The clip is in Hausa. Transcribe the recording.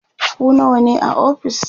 ku nawa ne a ofis?